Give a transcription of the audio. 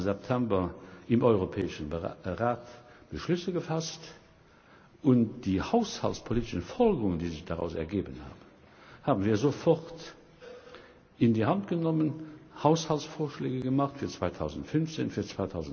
23. September im Europäischen Rat Beschlüsse gefasst, und die haushaltspolitischen Folgerungen, die sich daraus ergeben haben, haben wir sofort in die Hand genommen und Haushaltsvorschläge gemacht für 2015, für